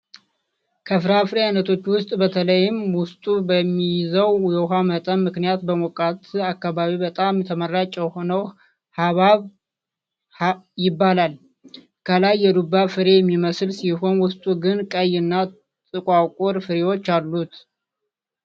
ከፍራፍሬ አይነቶች ውስጥ በተለይም ውስጡ በሚይዘው የውሃ መጠን ምክንያት በሞቃት አካባቢ በጣም ተመራጭ የሆነው ሃብሃብ ይባላል። ከላይ የዱባ ፍሬ የሚመስል ሲሆን ውስጡ ግን ቀይ እና ጥቋቁር ፍሬዎች አሉት።